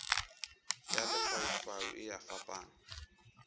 ya lefaufau e a fapana